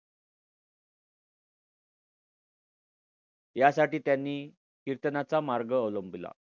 यासाठी त्यांनी कीर्तनाचा मार्ग अवलंबिला.